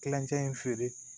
Kilancɛ in feere